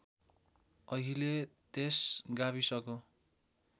अहिले त्यस गाविसको